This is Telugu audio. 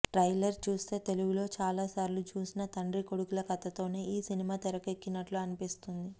ట్రైలర్ చూస్తే తెలుగులో చాలాసార్లు చూసిన తండ్రీ కొడుకుల కథతోనే ఈ సినిమా తెరకెక్కినట్లు అనిపిస్తోంది